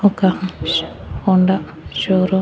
ఒక Honda showroom .